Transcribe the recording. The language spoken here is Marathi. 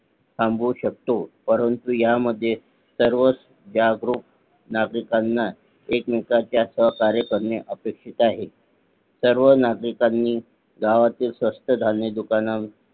थांबू शकतो परंतु ह्या मध्ये सर्वच जागरूक नागरिकांना एकमेकांना सहकार्य करणे अपेक्षित आहे सर्व नागरिकांनी गावातील स्वस्त धान्य दुकान